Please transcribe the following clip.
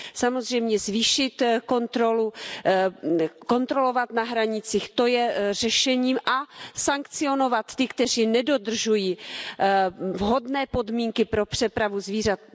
Samozřejmě zvýšit kontrolu, kontrolovat na hranicích, to je řešením a sankcionovat ty, kteří nedodržují vhodné podmínky pro přepravu zvířat.